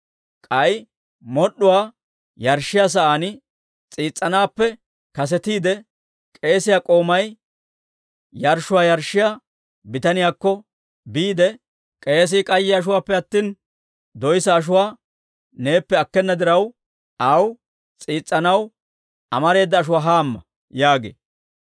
K'ay mod'd'uwaa yarshshiyaa sa'aan s'iis's'anaappe kasetiide, k'eesiyaa k'oomay yarshshuwaa yarshshiyaa bitaniyaakko biide, «K'eesii k'ayye ashuwaappe attina, doyssa ashuwaa neeppe akkena diraw, aw s'iis's'anaw amareeda ashuwaa hamma» yaagee.